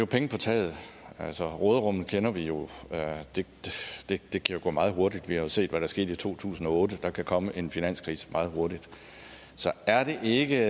penge på taget altså råderummet kender vi jo og det kan gå meget hurtigt vi har jo set hvad der skete i to tusind og otte der kan komme en finanskrise meget hurtigt så er det ikke